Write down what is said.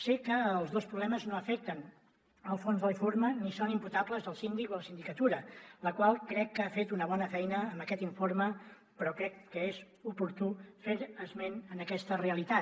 sé que els dos problemes no afecten el fons de l’informe ni són imputables al síndic o a la sindicatura la qual crec que ha fet una bona feina amb aquest informe però crec que és oportú fer esment a aquesta realitat